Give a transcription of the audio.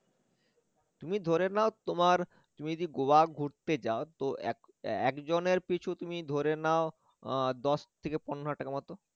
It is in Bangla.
তুমি ধরে নেও তোমার তুমি যদি গোয়া ঘুরতে যাও তো এক এর একজনের পিছু তুমি ধরে নাও আহ দশ থেকে পনেরো হাজার টাকার মত